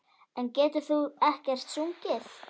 En getur þú ekkert sungið?